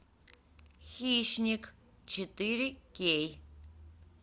хищник четыре кей